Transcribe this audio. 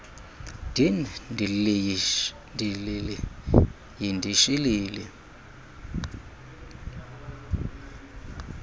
din dilili yindishilili